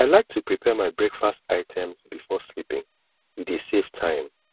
i like to prepare my breakfast items before sleeping e dey save time